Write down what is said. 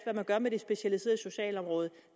man gør med det specialiserede socialområde